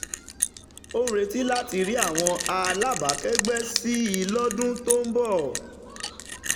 ó ń retí láti rí àwọn alábàákẹ́gbẹ́ sí i lọ́dún tó ń bọ̀.